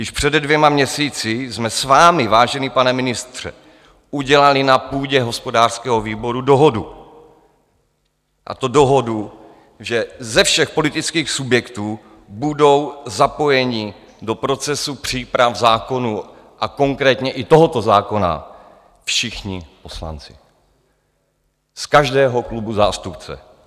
Již před dvěma měsíci jsme s vámi, vážený pane ministře, udělali na půdě hospodářského výboru dohodu, a to dohodu, že ze všech politických subjektů budou zapojeni do procesu příprav zákonů a konkrétně i tohoto zákona všichni poslanci, z každého klubu zástupce.